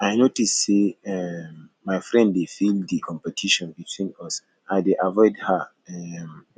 i notice say um my friend dey feel di competition between us i dey avoid her um